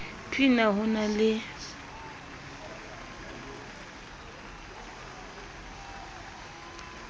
p na ho na le